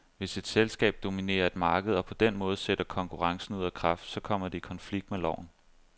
Hvis et selskab dominerer et marked og på den måde sætter konkurrencen ud af kraft, så kommer det i konflikt med loven.